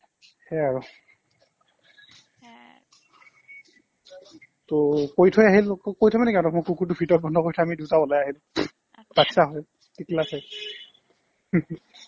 সেয়াই আৰু ত কৈ থৈ আহিলো কৈ থৈ মানে কি আৰু মই কুকুৰটো ভিতৰত বন্ধ কৰি থৈ আমি দুটা ওলাই আহিলো baatcha টিকলা চাই